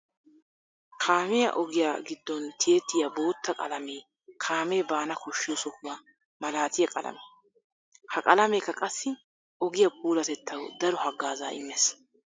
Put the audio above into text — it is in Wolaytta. Kaamiya ogiya gidon tiyettiya bootta qalamee kaame baana koshiyo sohuwaa malaatiya qalame. Ha qalameeka qassi ogiya puulatettawu daro hagaaza imees.